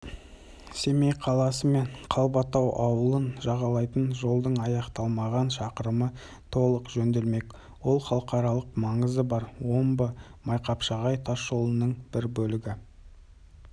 жыл бұрын күрделі жөндеу басталғанымен шақырымның жарма ауданындағы бөлігі мердігерлердің салғырттығынан аяқталмай қалған еді әсіресе жол